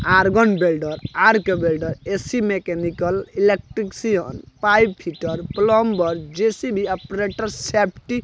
organ welder arc welder AC mechanic electrician pipe fitter plumber JCB operator safety --